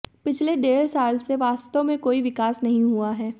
पिछले डेढ़ साल से वास्तव में कोई विकास नहीं हुआ है